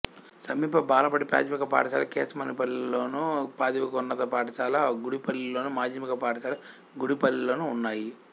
సమీప బాలబడి ప్రాథమిక పాఠశాల కేశమనేనిపల్లిలోను ప్రాథమికోన్నత పాఠశాల గుడిపల్లిలోను మాధ్యమిక పాఠశాల గుడిపల్లిలోనూ ఉన్నాయి